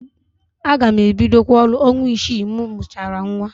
Aga m ebidokwa ọrụ ọnwa isii m mụchara nnwa.